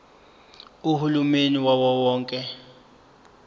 uhulumeni wawo wonke